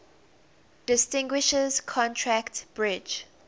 distinguishes contract bridge